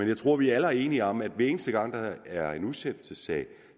jeg tror at vi alle er enige om at hver eneste gang der er en udsættelsessag